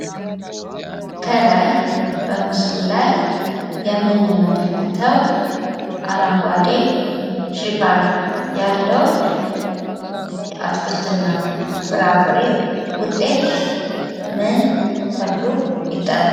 ከላይ በምስሉ ላይ የምንመለከተው አረንጓዴ ሽፋን ያለው የአትክልትና ፍራፍሬ ውጤት ምን ተብሎ ይጠራል?